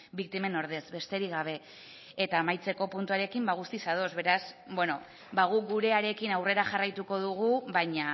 biktimen ordez besterik gabe eta amaitzeko puntuarekin guztiz ados beraz guk gurearekin aurrera jarraituko dugu baina